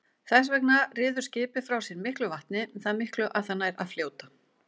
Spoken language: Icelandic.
Þess vegna ryður skipið frá sér miklu vatni, það miklu að það nær að fljóta.